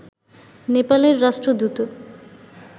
নেপালের রাষ্ট্রদূত